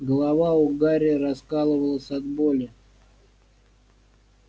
голова у гарри раскалывалась от боли